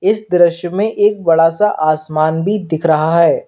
इस दृश्य में एक बड़ा सा आसमान भी दिख रहा है।